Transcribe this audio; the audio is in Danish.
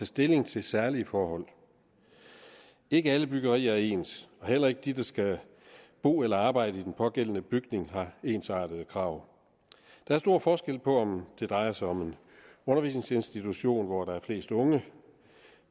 stilling til særlige forhold ikke alle byggerier er ens og heller ikke de der skal bo eller arbejde i den pågældende bygning har ensartede krav der er stor forskel på om det drejer sig om en undervisningsinstitution hvor der er flest unge